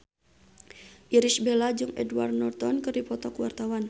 Irish Bella jeung Edward Norton keur dipoto ku wartawan